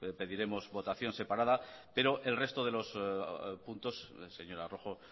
pediremos votación separada pero el resto de los puntos señora rojo